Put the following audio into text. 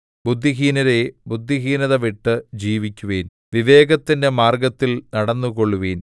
ബുദ്ധിഹീനരേ ബുദ്ധിഹീനത വിട്ട് ജീവിക്കുവിൻ വിവേകത്തിന്റെ മാർഗ്ഗത്തിൽ നടന്നുകൊള്ളുവിൻ